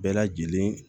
Bɛɛ lajɛlen